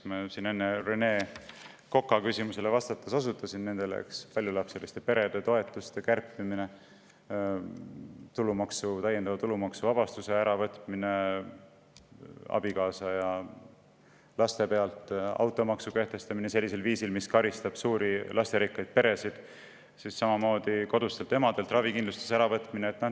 Ma enne Rene Koka küsimusele vastates osutasin nendele: paljulapseliste perede toetuste kärpimine, täiendava tulumaksuvabastuse äravõtmine abikaasa eest ja laste pealt, automaksu kehtestamine sellisel viisil, mis karistab suuri, lasterikkaid peresid, samamoodi kodustelt emadelt ravikindlustuse äravõtmine.